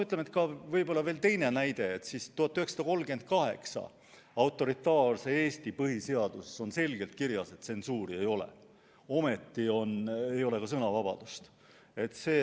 Toon veel teisegi näite: 1938. aasta autoritaarse Eesti põhiseaduses on selgelt kirjas, et tsensuuri ei ole, ometi oli ja sõnavabadust ei olnud.